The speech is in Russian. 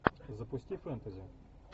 запусти фэнтези